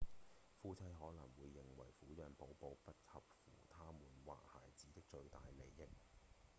夫妻可能會認定撫養寶寶不合乎他們或孩子的最大利益